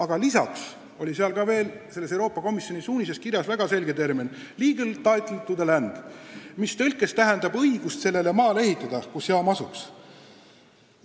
Aga lisaks oli Euroopa Komisjoni suunises kirjas väga selge termin legal title to the land, mis tõlkes tähendab õigust sellele maale ehitada, kus jaam asuks.